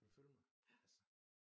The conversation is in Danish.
Kan du følge mig altså